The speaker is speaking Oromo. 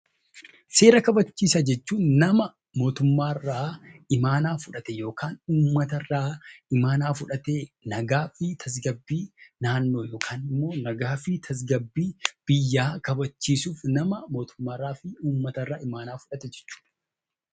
Seera kabachiisaa jechuun nama mootummaa irraa imaanaa fudhate yookaan uummata irraa fudhatee nagaa fi tasgabbii naannoo yookaan immoo nagaa fi tasgabbii biyyaa kabachiisuuf nama mootummaa irraa fi uummata irraa imaanaa fudhate jechuu dha.